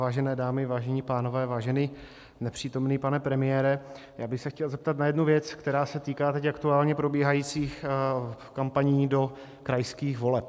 Vážené dámy, vážení pánové, vážený nepřítomný pane premiére, já bych se chtěl zeptat na jednu věc, která se týká teď aktuálně probíhajících kampaní do krajských voleb.